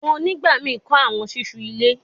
Mo nigbamii kọ awọn ṣiṣu ile